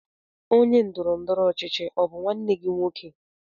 Onye ndọrọ ndọrọ ọchịchị ọ bụ nwanne gị nwoke?